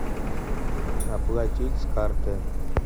оплатить с карты